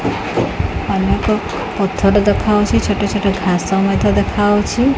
ଅନେକ ପଥର ଦେଖାଉଛି ଛୋଟ ଛୋଟ ଘାସ ମଧ୍ୟ ଦେଖାଉଛି ।